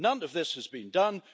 None of this has been done.